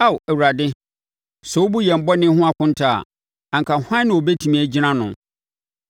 Ao Awurade, sɛ wobu yɛn bɔne ho nkonta a, anka hwan na ɔbɛtumi agyina ano?